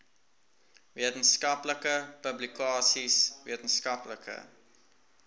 wetenskaplike publikasies wetenskaplike